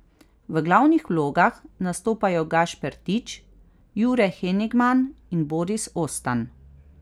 V glavnih vlogah nastopajo Gašper Tič, Jure Henigman in Boris Ostan.